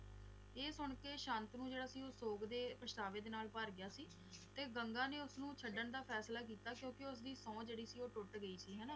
ਇਹ ਸੁਣਕੇ ਸ਼ਾਂਤਨੂੰ ਜਿਹੜਾ ਸੀ ਓਹ ਸੋਗ ਦੇ ਪਛਤਾਵੇ ਨਾਲ ਭਰ ਗਿਆ ਸੀ ਤੇ ਗੰਗਾ ਨੇ ਉਸਨੂੰ ਛੱਡਣ ਦਾ ਫੈਸਲਾ ਕੀਤਾ ਕਿਉਕਿ ਉਸਦੀ ਸੋਹ ਜੌ ਸੀ ਓਹ ਟੁੱਟ ਗਈ ਸੀ